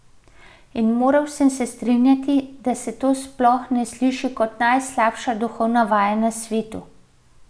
In moral sem se strinjati, da se to sploh ne sliši kot najslabša duhovna vaja na svetu.